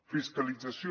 fiscalització